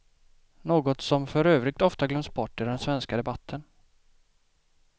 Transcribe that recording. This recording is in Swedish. Något som för övrigt ofta glöms bort i den svenska debatten.